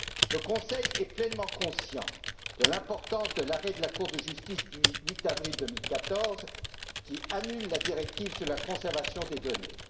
Le Conseil est pleinement conscient de l'importance de l'arrêt de la Cour de justice du 8 avril 2014 qui annule la directive sur la conservation des données.